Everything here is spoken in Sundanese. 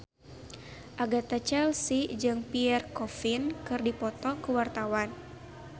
Agatha Chelsea jeung Pierre Coffin keur dipoto ku wartawan